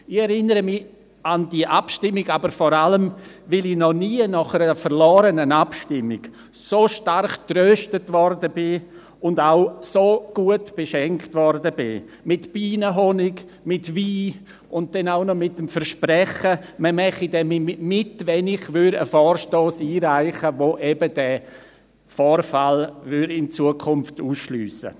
Ich erinnere mich vor allem deshalb an diese Abstimmung, weil ich noch nie nach einer verlorenen Abstimmung so stark getröstet und so gut beschenkt wurde – mit Bienenhonig, mit Wein und auch mit dem Versprechen, man werde mitmachen, wenn ich einen Vorstoss einreiche, um entsprechende Vorfälle in Zukunft auszuschliessen.